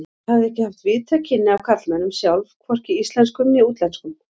Hafði ekki haft víðtæk kynni af karlmönnum sjálf, hvorki íslenskum né útlenskum.